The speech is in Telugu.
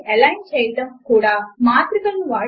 కనుక వాటిని ఎలైన్ చేయడము కొరకు మాట్రిక్స్ మార్క్ అప్ ను వాడండి